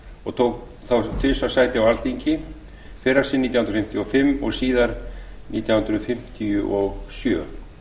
og tók þá tvisvar sæti á alþingi fyrra sinn nítján hundruð fimmtíu og fimm síðara sinn nítján hundruð fimmtíu og sjö